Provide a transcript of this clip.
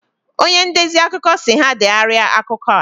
Onye ndezi akụkọ si ha degharia akụkọ a